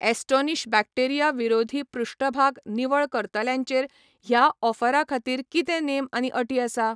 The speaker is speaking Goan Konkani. ॲस्टोनिश बॅक्टेरिया विरोधी पृष्ठभाग निवळ करतल्यांचेर ह्या ऑफरा खातीर कितें नेम आनी अटी आसा ?